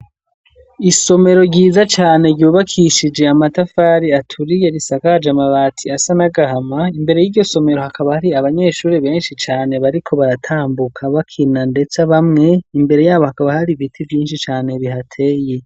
Isomero ryiza cane ryubakishije amatafari aturiye risakaje amabati asa n’agahama ,imbere y'iryo somero hakaba hari abanyeshuri benshi cane bariko baratambuka ,bakina ndetse bamwe imbere yabo hakaba hari ibiti vyinshi cane bihateye.